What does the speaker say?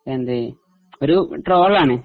എന്ത് ഒരു ട്രോളാണേ